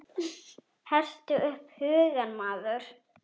Hertu upp hugann maður!